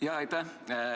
Aitäh!